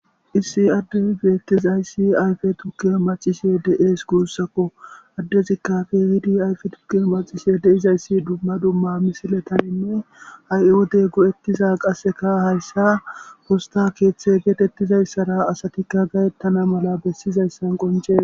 issi adde geettizayssi ayfe tukke macishe deees guussakko addezikka fe hiidi ayfe tukke macishe deizayssi dumma dumma misiletaninne ha7i wode go7ettiza qasseka hayssa posta keeththe geetettizayssara asatikka gayettana mala bessizayssan qoncee